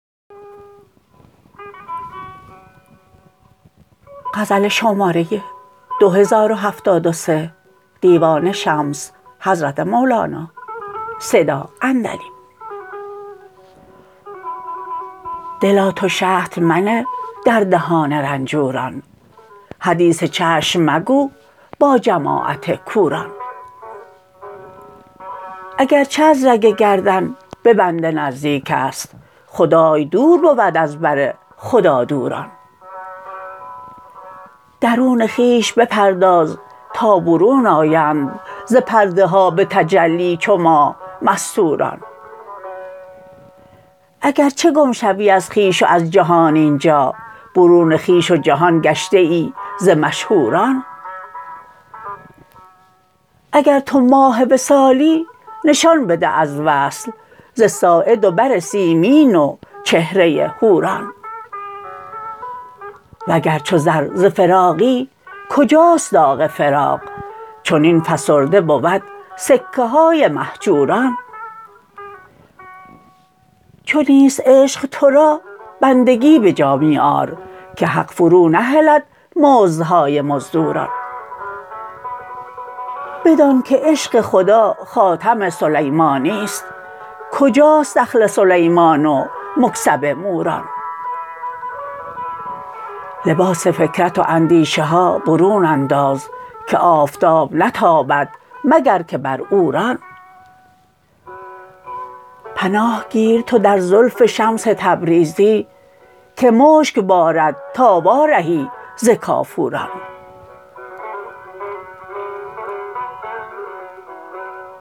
دلا تو شهد منه در دهان رنجوران حدیث چشم مگو با جماعت کوران اگر چه از رگ گردن به بنده نزدیک است خدای دور بود از بر خدادوران درون خویش بپرداز تا برون آیند ز پرده ها به تجلی چو ماه مستوران اگر چه گم شوی از خویش و از جهان این جا برون خویش و جهان گشته ای ز مشهوران اگر تو ماه وصالی نشان بده از وصل ز ساعد و بر سیمین و چهره حوران وگر چو زر ز فراقی کجاست داغ فراق چنین فسرده بود سکه های مهجوران چو نیست عشق تو را بندگی به جا می آر که حق فرونهلد مزدهای مزدوران بدانک عشق خدا خاتم سلیمانی است کجاست دخل سلیمان و مکسب موران لباس فکرت و اندیشه ها برون انداز که آفتاب نتابد مگر که بر عوران پناه گیر تو در زلف شمس تبریزی که مشک بارد تا وارهی ز کافوران